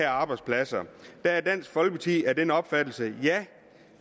arbejdspladser dansk folkeparti er af den opfattelse at ja